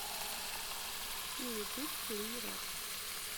на ютуб клирап